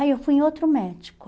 Aí eu fui em outro médico.